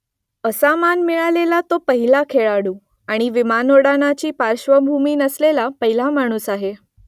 असा मान मिळालेला तो पहिला खेळाडू आणि विमानोड्डाणाची पार्श्वभूमी नसलेला पहिला माणूस आहे